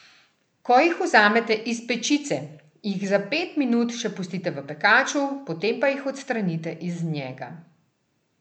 Ko jih vzamete iz pečice, jih za pet minut še pustite v pekaču, potem pa jih odstranite iz njega.